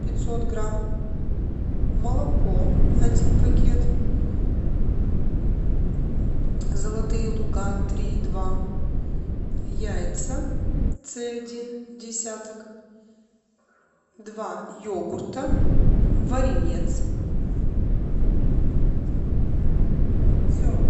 пятьсот грамм молоко один пакет золотые луга три и два яйца цэ один десяток два йогурта варенец все